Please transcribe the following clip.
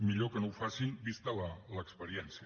millor que no ho facin vista l’experiència